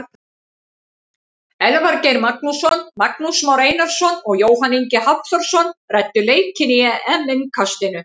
Elvar Geir Magnússon, Magnús Már Einarsson og Jóhann Ingi Hafþórsson ræddu leikinn í EM innkastinu.